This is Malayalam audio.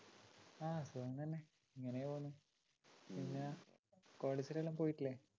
ആ സുഖം തന്നെ ഇങ്ങനേ പോകുന്നു പിന്നെ കോളേജിലെല്ലാം പോയിട്ടില്ലേ